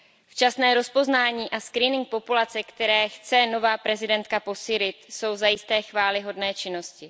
Včasné rozpoznání a screening populace, které chce nová prezidentka posílit, jsou zajisté chvályhodné činnosti.